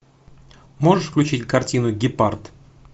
можешь включить картину гепард